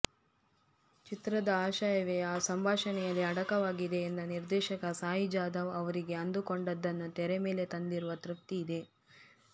ಚಿತ್ರದ ಆಶಯವೇ ಆ ಸಂಭಾಷಣೆಯಲ್ಲಿ ಅಡಕವಾಗಿದೆ ಎಂದ ನಿರ್ದೇಶಕ ಸಾಯಿ ಜಾದವ್ ಅವರಿಗೆ ಅಂದುಕೊಂಡದ್ದನ್ನು ತೆರೆಮೇಲೆ ತಂದಿರುವ ತೃಪ್ತಿ ಇದೆ